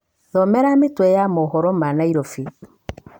nisomee vichwa vya habari za nairobi